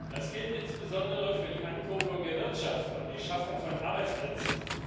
Das gilt insbesondere für die Ankurbelung der Wirtschaft und die Schaffung von Arbeitsplätzen.